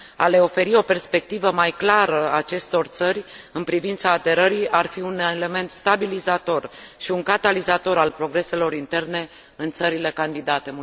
A le oferi o perspectivă mai clară acestor țări în privința aderării ar fi un element stabilizator și un catalizator al progreselor interne în țările candidate.